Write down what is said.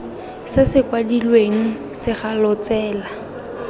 se se kwadilweng segalo tsela